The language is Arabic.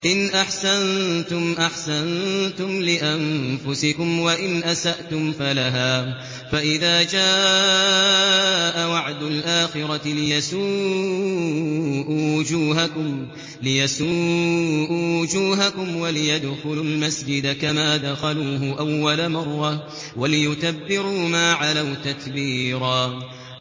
إِنْ أَحْسَنتُمْ أَحْسَنتُمْ لِأَنفُسِكُمْ ۖ وَإِنْ أَسَأْتُمْ فَلَهَا ۚ فَإِذَا جَاءَ وَعْدُ الْآخِرَةِ لِيَسُوءُوا وُجُوهَكُمْ وَلِيَدْخُلُوا الْمَسْجِدَ كَمَا دَخَلُوهُ أَوَّلَ مَرَّةٍ وَلِيُتَبِّرُوا مَا عَلَوْا تَتْبِيرًا